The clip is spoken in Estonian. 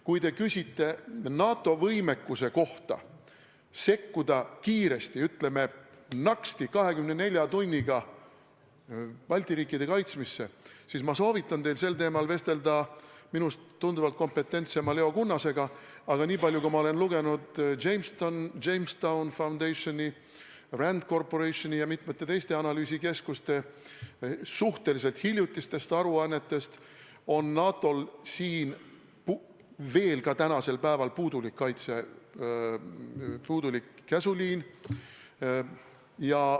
Kui te küsite NATO võimekuse kohta sekkuda kiiresti – ütleme, naksti, 24 tunniga – Balti riikide kaitsmisesse, siis ma soovitan teil sel teemal vestelda minust tunduvalt kompetentsema Leo Kunnasega, aga nii palju, kui ma olen lugenud The Jamestown Foundationi, RAND Corporationi ja mitmete teiste analüüsikeskuste suhteliselt hiljutistest aruannetest, on NATO-l veel siiani päeval puudulik käsuliin.